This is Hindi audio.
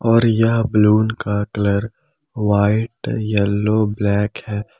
और यह बलून का कलर व्हाइट येलो ब्लैक है।